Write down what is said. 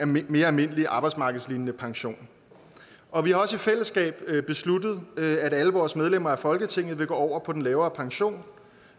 mere mere almindelig arbejdsmarkedslignende pension og vi har også i fællesskab besluttet at alle vores medlemmer af folketinget vil gå over på den lavere pension